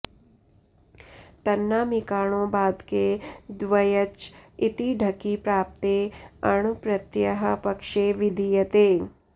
तन्नामिकाणो बाधके द्व्यच इति ढकि प्राप्ते अण् प्रत्ययः पक्षे विधीयते